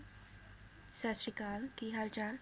ਸਤਿ ਸ਼੍ਰੀ ਅਕਾਲ ਕੀ ਹਾਲ ਚਾਲ?